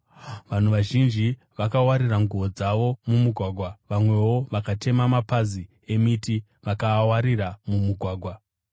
Vanhu vazhinji vakawarira nguo dzavo mumugwagwa, vamwewo vakatema mapazi emiti vakaawarira mumugwagwa.